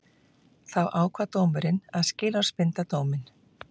Því ákvað dómurinn að skilorðsbinda dóminn